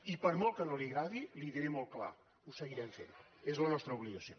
i per molt que no li agradi l’hi diré molt clar ho seguirem fent és la nostra obligació